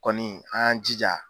Kɔni an y'an jija